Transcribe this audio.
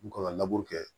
N kan ka laburu kɛ